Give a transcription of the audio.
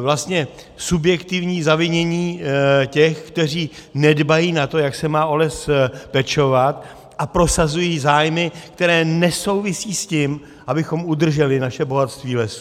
vlastně subjektivní zavinění těch, kteří nedbají na to, jak se má o les pečovat, a prosazují zájmy, které nesouvisí s tím, abychom udrželi naše bohatství lesů.